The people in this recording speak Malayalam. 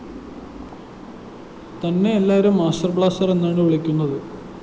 തന്നെ എല്ലാവരും മാസ്റ്റർ ബ്ലാസ്റ്റർ എന്നാണു വിളിക്കുന്നത്‌